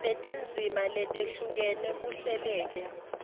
netindzima letehlukene kuhleleke